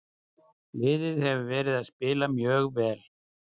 Liðið hefur verið að spila mjög vel.